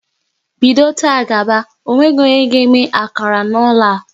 Bido taa gaba, ọ nweghị onye ga eme akara n'ụlọ a!